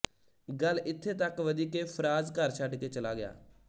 ਗੱਲ ਇੱਥੇ ਤੱਕ ਵਧੀ ਕਿ ਫ਼ਰਾਜ਼ ਘਰ ਛੱਡਕੇ ਚਲਾ ਗਿਆ